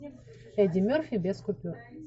эдди мерфи без купюр